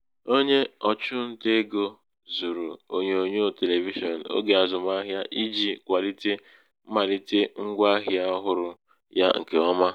onye ọ̀chụntaegō zụ̀rụ̀ ònyonyòo televishịọn ogē àzụmahịa ijī kwàlite mmàlite ṅgwā ahịa ọhụrụ ya ṅ̀kè ọma